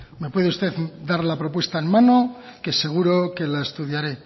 me puede usted dar la propuesta en mano que seguro que las estudiaré